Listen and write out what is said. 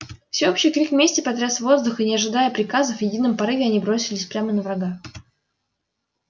всеобщий крик мести потряс воздух и не ожидая приказов в едином порыве они бросились прямо на врага